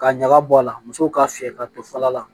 Ka ɲaga bɔ a la musow k'a fiyɛ ka to fala la